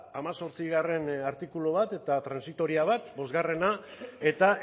hemezortzigarrena artikulu bat eta transitoria bat bosgarrena eta